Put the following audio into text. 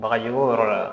Bagaji ko yɔrɔ la